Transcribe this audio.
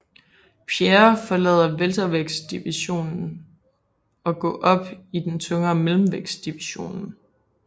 Pierre forlade weltervægtsdivisionen og gå op i den tungere mellemvægtsdivisionen